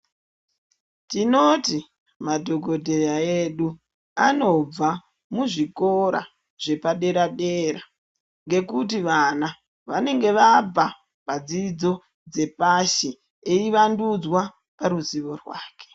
Tinoti madhogodhera edu anobva kuzvikora zvapadera-dera. Ngekuti vana vanenge vabva padzidzo dzepashi eivandudzwa paruzivo rwake.